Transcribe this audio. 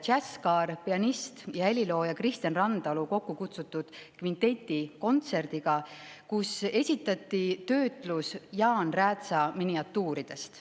Jazzkaar pianist ja helilooja Kristjan Randalu kokkukutsutud kvinteti kontserdiga, kus esitati töötlus Jaan Räätsa miniatuuridest.